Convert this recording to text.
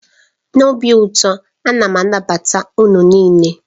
N'obi ụtọ, a na m anabata unu niile.